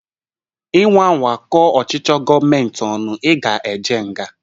Inwa anwa kọọ ọchịchị gọọmenti ọnu, ị ga-eje nga